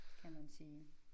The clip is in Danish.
Kan man sige